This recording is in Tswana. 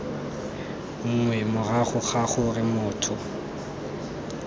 nngwe morago ga gore motho